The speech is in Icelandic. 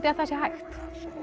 að það sé hægt